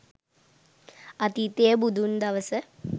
අතීතියේ බුදුන් දවස